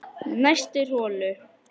Næstur holu